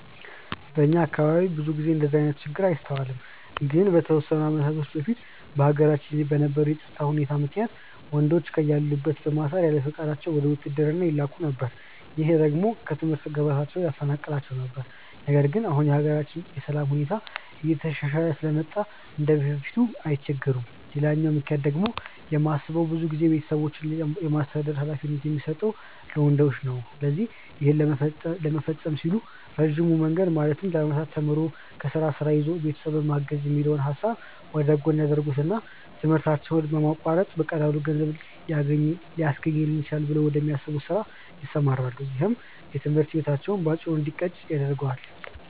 በእኛ አካባቢ ብዙ ጊዜ እንደዚህ አይነት ችግር አይስተዋልም። ግን ከተወሰኑ አመታቶች በፊት በሀገራችን በነበረው የፀጥታ ሁኔታ ምክንያት ወንዶችን ከያሉበት በማሰር ያለፍቃዳቸው ወደ ውትድርና ይላኩ ነበር። ይህ ደግሞ ከትምህርት ገበታቸው ያፈናቅላቸው ነበር። ነገር ግን አሁን የሀገራችን የሰላም ሁኔታ እየተሻሻለ ስለመጣ እንደበፊቱ አይቸገሩም። ሌላኛው ምክንያት ብዬ የማስበው ብዙ ጊዜ ቤተሰብን የማስተዳደር ሀላፊነት የሚሰጠው ለወንዶች ነው። ስለዚህ ይህን ለመፈፀም ሲሉ ረጅሙን መንገድ ማለትም ለአመታት ተምሮ፣ ከዛ ስራ ይዞ ቤተሰብን ማገዝ የሚለውን ሀሳብ ወደጎን ያደርጉትና ትምህርታቸውን በማቋረጥ በቀላሉ ገንዘብ ሊያስገኝልኝ ይችላል ብለው ወደሚያስቡት ስራ ይሰማራሉ። ይህም የትምህርት ህይወታቸው በአጭሩ እንዲቀጭ ያደርገዋል።